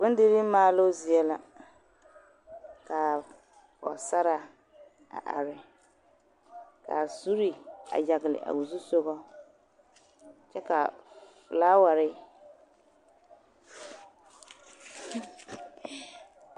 Noba la a are a kɔɔ taa nasaleba ka ba mine su kpardɔre a hɔɔli zupilpeɛle ka ba mine su kparziiri a hɔɔl zupilziiri ka yisɔɡelaa kaŋa a are kɔɡe ba ka yipelaa kaŋa meŋ are kuɛ ka ba tuuri nuuri tontoorsɔɡelɔ.